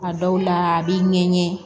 A dɔw la a b'i ŋɛɲɛ